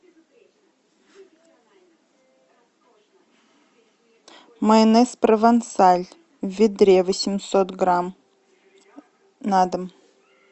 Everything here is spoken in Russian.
майонез провансаль в ведре восемьсот грамм на дом